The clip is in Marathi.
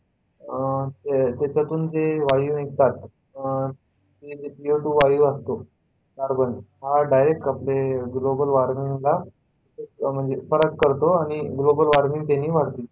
अह त्याच्या तून जे वायू निघतात अह ते co two वायू असतो carbon, हा direct आपले global warming ला म्हणजे फरक करतो आणि global warming त्यानी वाढते.